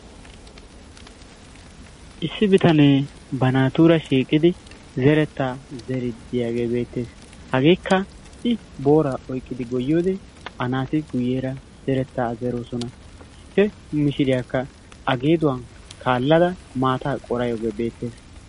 Issi bitanee ba naatura shiiqqidi zerettaa zeeridi de'iyaagee beettees. Hageekka i booraa oyqqidi goyyiyoode a naati guyyeera zerettaa zeroosona. He mishshiriyaakka a geeduwaa kaallada maataa qooraydda de'iyaara beettawus.